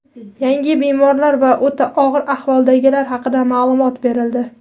Yangi bemorlar va o‘ta og‘ir ahvoldagilar haqida ma’lumot berildi.